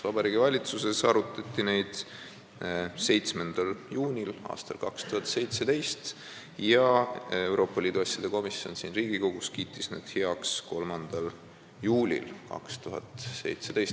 Vabariigi Valitsuses arutati neid 7. juunil aastal 2017 ja Euroopa Liidu asjade komisjon kiitis need siin Riigikogus heaks 3. juulil 2017.